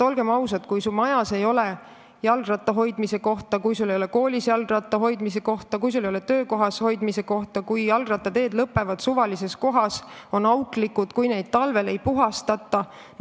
Olgem ausad, see häirib, kui su majas ei ole jalgratta hoidmise kohta, kui su koolis ei ole jalgratta hoidmise kohta, kui su töökohas ei ole selle hoidmiseks kohta, kui jalgrattateed lõpevad suvalises kohas või on auklikud, kui neid näiteks talvel ei puhastata.